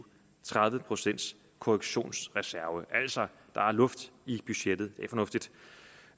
tredive procent korrektionsreserve altså der er luft i budgettet det